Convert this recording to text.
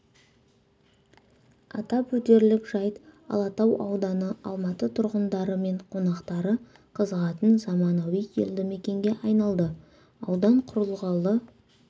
атап өтерлік жайт алатау ауданы алматы тұрғындары мен қонақтары қызығатын заманауи елді мекенге айналды аудан құрылғалы